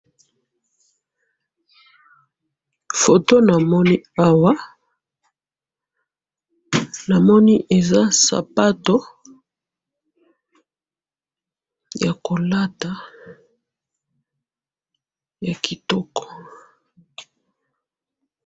photo namoni awa namoni eza sapatu ya kolata ya kitoko